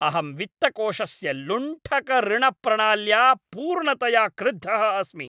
अहं वित्तकोषस्य लुण्ठकऋणप्रणाल्या पूर्णतया क्रुद्धः अस्मि।